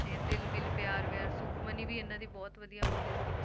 ਤੇ ਦਿਲ ਵਿਲ ਪਿਆਰ ਵਿਆਰ, ਸੁਖਮਣੀ ਵੀ ਇਹਨਾਂ ਦੀ ਬਹੁਤ ਵਧੀਆ movie ਸੀ,